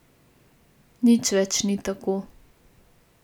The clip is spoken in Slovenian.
Nič več ni tako ...